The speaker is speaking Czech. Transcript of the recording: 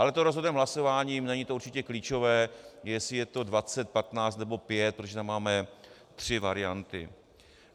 Ale to rozhodneme hlasováním, není to určitě klíčové, jestli je to 20, 15 nebo 5, protože tam máme tři varianty.